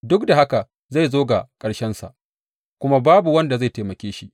Duk da haka zai zo ga ƙarshensa, kuma babu wanda zai taimake shi.